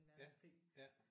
Ja ja